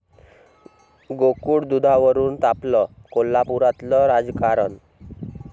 गोकुळ दुधावरून तापलं कोल्हापुरातलं राजकारण!